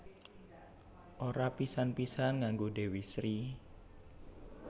Ora pisan pisan nganggo Dewi Sri